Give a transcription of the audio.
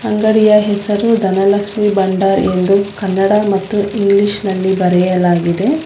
ಅಂಗಡಿಯ ಹೆಸರು ಧನಲಕ್ಷ್ಮಿ ಬಂಡಾರ್ ಎಂದು ಕನ್ನಡ ಮತ್ತು ಇಂಗ್ಲೀಷ್ ನಲ್ಲಿ ಬರೆಯಲಾಗಿದೆ.